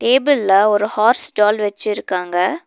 டேபிள்ல ஒரு horse doll வெச்சுருக்காங்க.